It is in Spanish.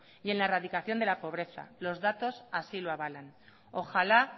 y en la radicación de la pobreza los datos así lo avalan ojalá